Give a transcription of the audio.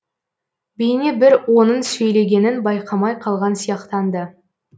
бейне бір оның сөйлегенін байқамай қалған сияқтанды